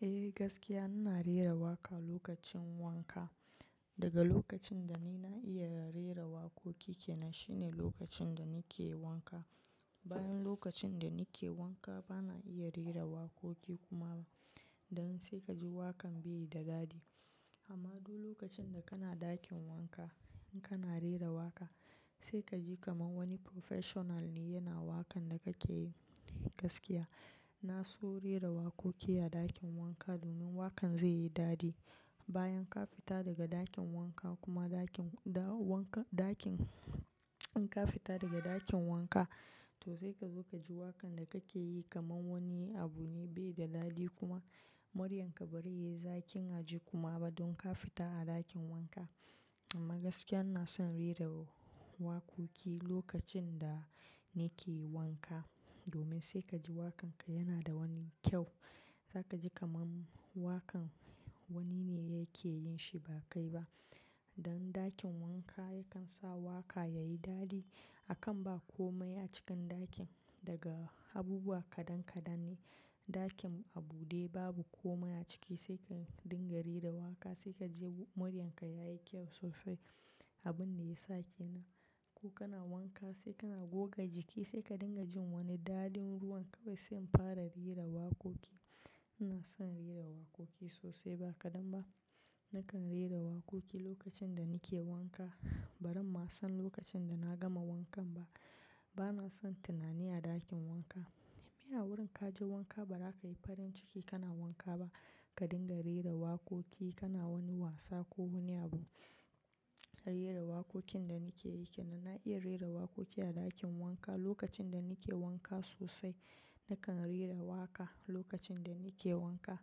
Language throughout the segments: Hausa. Eh gaskiya ina rera waka lokacin wanka. Daga lokacin da ni na iya rera wakoki kenan shine lokacin da nike wanka. Bayan lokacin da nike wanka bana iya rera wakoki kuma don sai kaji wakan bai da dadi. Amma duk lokacin da kana ɗakin wanka in kana rera waka sai kaji kamar wani professional ne yana wakan da kake yi. Gaskiya na so rera wakoki a dakin wanka domin wakan zai yi daɗi Bayan ka fita daga ɗakin wanka kuma ɗakin da wanka ɗakin in ka fita daga dakin wanka to sai ka zo ka ji wakan da kake yi kamar wani abu ne bai da daɗi kuma muryarka bari yi zakin a ji kuma ba don ka fita a ɗakin wanka. Amma gaskiya na son rera wakoki lokacin da nike yi wanka domin sai kaji wakan ka yana da wani kyau. Zaka ji kamar wakan wani ne yake yin shi ba kai ba. Don dakin wanka yakan sa waka yayi daɗi. Akan ba komai a cikin ɗakin daga abubuwa kaɗan kaɗan ne. Dakin a bude babu komai a ciki sai ka dinga rera waka sai kaji muryarka yayi kyau sosai. Abun da yasa kenan ko kana wanka sai kana goga jiki sai ka dinga jin wani dadin ruwan kawai sai in fara rera wakoki. Ina son rera wakoki sosai ba kadan ba. Nakan rera wakoki lokacin da nike wanka. Barin ma san lokacin da na gama wankan ba. Bana son tunani a dakin wanka. Me a wurin kaje wanka ba za ka yi farin ciki kana wanka ba? Ka dinga rera wakoki kana wani wasa ko wani abu. Rera wakokin da nike yi kenan. Na iya rera wakoki a dakin wanka lokacin da nike wanka sosai. Nakan rera waka lokacin da nike wanka.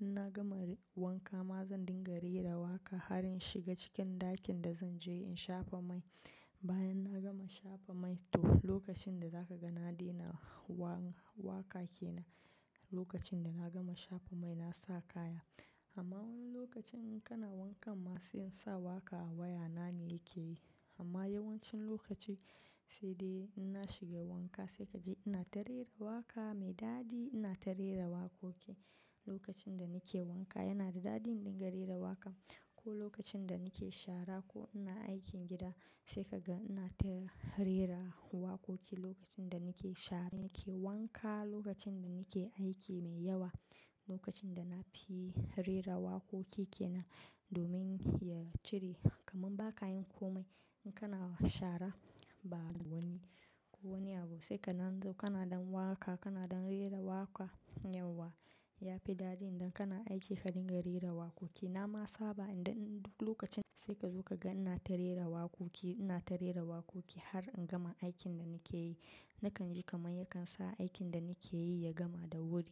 In na gama wanka ma zan dinga rera waka har in shiga cikin dakin da zan je in shafa mai. Bayan na gama shafa mai to lokacin da zaka ga na daina wa-waka kenan lokacin da na gama shafa mai na sa kaya. Amma wani lokacin in kana wankan ma sai in sa waƙa a waya na ne yake yi. Amma yawancin lokaci sai dai inna shiga wanka sai kaji ina ta rera waka mai dadi. Ina ta rera wakoki lokacin da nike wanka yana da dadi in dinga rera waka. Ko lokacin da nike shara ko ina aikin gida sai kaga ina ta rera wakoki lokacin da nike shara, nike wanka, lokacin da nike aiki mai yawa, lokacin da na fi rera wakoki kenan domin ya cire kamar ba kayin komai. In kana shara ba wani ko wani abu sai ka nanzo kana dan waka kana dan rera waka yawwa ya fi dadi idan kana aiki ka dinga rera wakoki. Na ma saba idan duk lokacin sai ka zo kaga ina ta rera wakoki ina ta rera wakoki har in gama aikin da nike yi. Nakan ji kamar yakan sa aikin da nike yi ya gama da wuri.